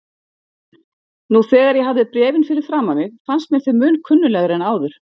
Nú þegar ég hafði bréfin fyrir framan mig fannst mér þau mun kunnuglegri en áður.